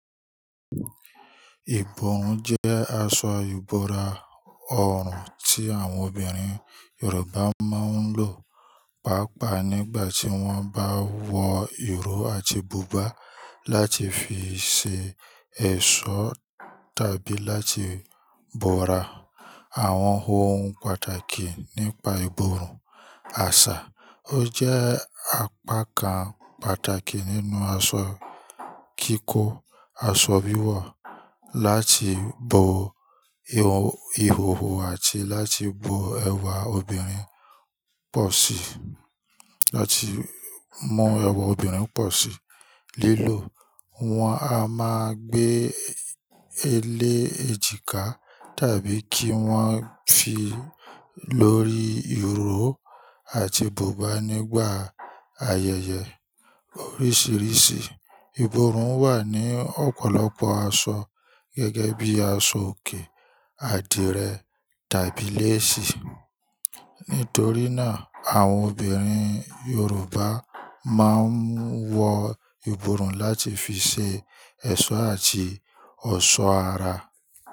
Ìborùn jẹ́ aṣọ ìbọ̀ra ọrùn tí àwọn obìnrin Yorùbá máa ń lò, pàápàá nígbà tí wọ́n bá wọ ìró àti bùbá, láti fi ṣe ẹ̀ṣọ́ tàbí láti bọra àwọn ohun pàtàkì nípa ìborùn. Àṣà ó jẹ́ apá kan pàtàkì nínú aṣọ kíkó aṣọ wiwọ láti bo ihòhò àti láti mú ẹwà obìnrin pọ̀ sí. Lílò wọn a máa gbé e lé èjìká tàbí kí wọ́n fi lórí ìró àti bùbá nígbà ayẹyẹ oríṣiríṣi. Ìborùn wà ní ọ̀pọ̀lọpọ̀ aṣọ gẹ́gẹ́ bí aṣọ òkè, àdìrẹ tàbí léèsì. Nítorí náà, àwọn obìnrin Yorùbá máa ń wọ ìborùn láti fi ṣe ẹ̀ṣọ́ àti ọ̀ṣọ́ ara.